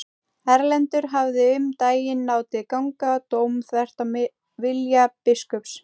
Erlendur hafði um daginn látið ganga dóm þvert á vilja biskups.